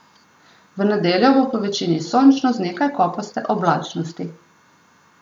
V nedeljo bo povečini sončno z nekaj kopaste oblačnosti.